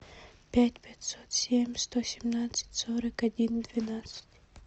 пять пятьсот семь сто семнадцать сорок один двенадцать